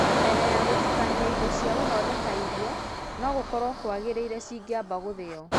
Mbere ya gũtukania indo cia gũthondeka irio, no gũkorwo kwagĩrĩire cingĩamba gũthĩo.